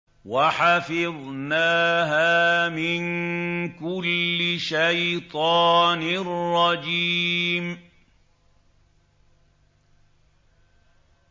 وَحَفِظْنَاهَا مِن كُلِّ شَيْطَانٍ رَّجِيمٍ